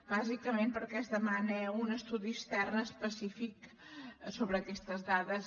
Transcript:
bàsicament perquè es demana un estudi extern específic sobre aquestes dades